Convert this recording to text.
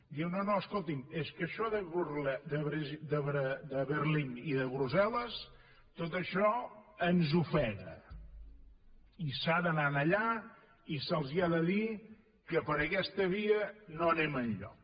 diu no no escolti’m és que això de berlín i de brussel·les tot això ens ofega i s’ha d’anar allà i se’ls ha de dir que per aquesta via no anem enlloc